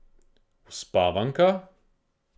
Uspavanka?